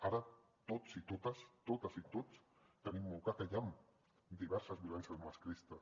ara tots i totes totes i tots tenim molt clar que hi han diverses violències masclistes